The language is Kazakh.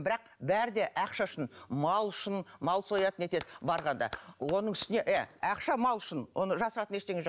бірақ бәрі де ақша үшін мал үшін мал сояды нетеді барғанда оның үстіне иә ақша мал үшін оны жасыратын ештеңе жоқ